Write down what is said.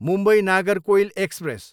Mumbai, Nagercoil express